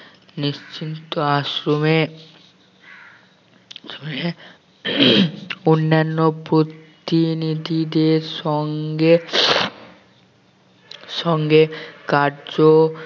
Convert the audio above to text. নিশ্চিন্ত আশ্রমে অন্যান্য প্রতিনিধিদের সঙ্গে সঙ্গে কার্য